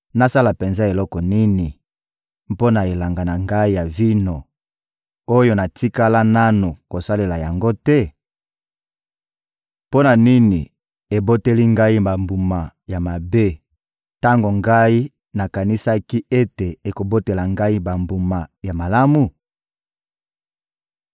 Nasala penza eloko nini, mpo na elanga na ngai ya vino, oyo natikala nanu kosalela yango te? Mpo na nini eboteli ngai bambuma ya mabe, tango ngai nakanisaki ete ekobotela ngai bambuma ya malamu?